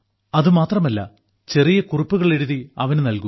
അതു മാത്രമല്ല ചെറിയ കുറിപ്പുകൾ എഴുതി അവന് നൽകാം